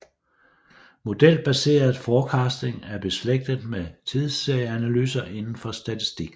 Modelbaseret forecasting er beslægtet med tidsserieanalyser indenfor statistikken